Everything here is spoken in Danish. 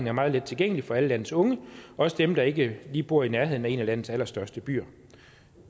er meget let tilgængelig for alle landets unge også dem der ikke lige bor i nærheden af en af landets allerstørste byer